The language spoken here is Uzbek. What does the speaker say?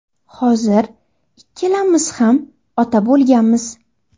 Hozir ikkalamiz ham ota bo‘lganmiz.